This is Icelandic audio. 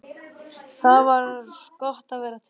Það var gott að vera til.